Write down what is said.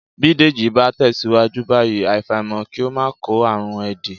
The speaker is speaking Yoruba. Bí Dèjì bá tẹ̀síwájú báyìí, àfàìmọ̀ kí ó máa kó àrùn éèdì